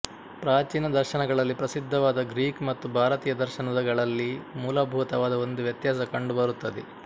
ಪ್ರಾಚೀನ ದರ್ಶನಗಳಲ್ಲಿ ಪ್ರಸಿದ್ಧವಾದ ಗ್ರೀಕ್ ಮತ್ತು ಭಾರತೀಯ ದರ್ಶನಗಳಲ್ಲಿ ಮೂಲಭೂತವಾದ ಒಂದು ವ್ಯತ್ಯಾಸ ಕಂಡು ಬರುತ್ತದೆ